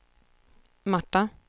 Marta